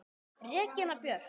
Regína Björk!